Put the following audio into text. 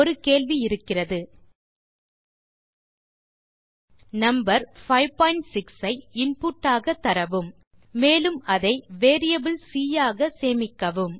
ஒரு கேள்வி இருக்கிறது நம்பர் 56 ஐ இன்புட் ஆக தரவும் மேலும் அதை வேரியபிள் சி ஆக சேமிக்கவும்